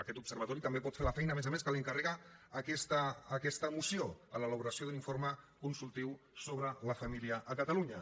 aquest observatori també pot fer la feina a més a més que li encarrega aquesta moció l’elaboració d’un informe consultiu sobre la família a catalunya